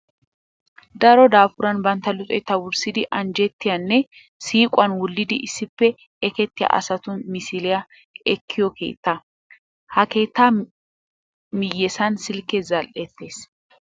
Daro daafuran bantta luxetta wurssidi anjjettiya nne siiquwan wullidi issippe ekettiya asatu misiliya ekkiyo keettaa. Ha keettaa miyyessan silkkee zal"ettes.